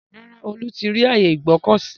Rárá, Olú ti rí ààyè Ìgbọ̀kọ̀sí.